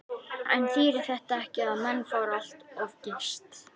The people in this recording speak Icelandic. En þýðir þetta ekki að menn fóru allt of geyst?